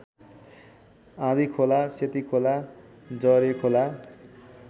Andhikhola Setikhola Jarekhola